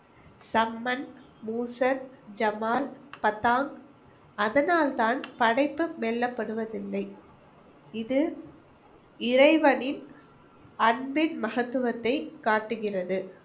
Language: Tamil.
சம்மன், மூசன், ஜமால், பதாங். அதனால்தான் படைப்பு இல்லை. இது இறைவனின் அன்பின் மகத்துவத்தை காட்டுகிறது.